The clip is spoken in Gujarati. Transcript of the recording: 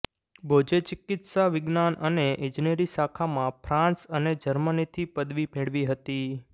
બોઝે ચિકિત્સા વિજ્ઞાન અને ઇજનેરી શાખામાં ફ્રાંસ અને જર્મનીથી પદવી મેળવી હતી